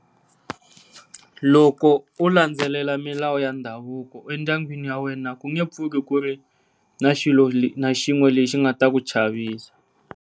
Loko u landzelela milawu ya ndhavuko endyangwini wa wena ku nge pfuki ku ri na xilo lexi na xin'we lexi nga ta ku chavisa.